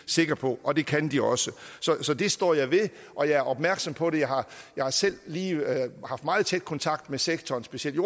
sikker på og det kan de også så det står jeg ved og jeg er opmærksom på det jeg har selv lige haft meget tæt kontakt med sektoren specielt